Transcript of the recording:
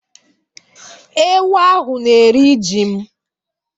Ewu ahụ na-eri ji m.